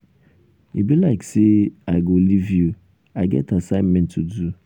e be like say i go live you. i get assignment to do.